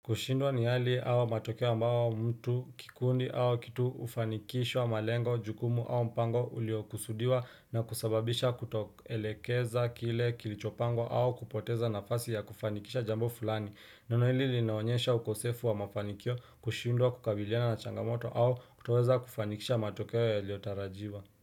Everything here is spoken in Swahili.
Kushindwa ni hali au matokeo ambayo mtu kikundi au kitu ufanikishwa malengo, jukumu au mpango uliokusudiwa na kusababisha kutoelekeza kile kilichopangwa au kupoteza nafasi ya kufanikisha jambo fulani. Neno hili linaonyesha ukosefu wa mafanikio kushindwa kukabiliana na changamoto au kutoweza kufanikisha matokeo ya liotarajiwa.